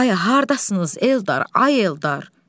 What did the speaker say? Ay haradasınız, Eldar, ay Eldar!